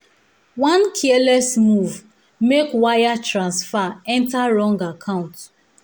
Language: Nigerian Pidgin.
one careless move make wire transfer enter wrong account.